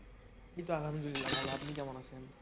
এই তো আলহামদুলিল্লাহ ভালো আপনি কেমন আছেন?